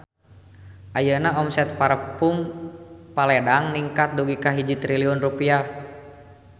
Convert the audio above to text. Ayeuna omset Parfume Paledang ningkat dugi ka 1 triliun rupiah